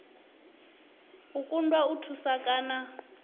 u kundwa u thusa kana